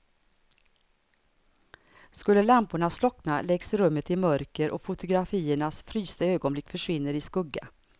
Skulle lamporna slockna läggs rummet i mörker och fotografiernas frysta ögonblick försvinner i skugga.